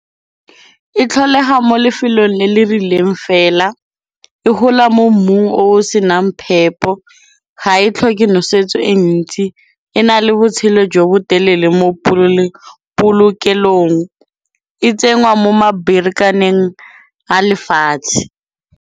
E tlholega mo lefelong le le rileng fela, e hola mo mmung o o senang phepo, ga e tlhoke nosetso e ntsi, e na le botshelo jo bo telele mo polokelong, e tsenngwa mo maberekaneng a lefatshe.